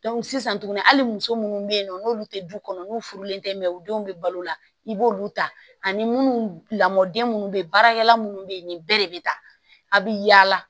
sisan tuguni hali muso munnu be yen nɔ n'olu te du kɔnɔ n'u furulen tɛ mɛ u denw bɛ balo la i b'olu ta ani munnu lamɔden minnu bɛ yen baarakɛla minnu bɛ yen nin bɛɛ de bɛ taa a bɛ yaala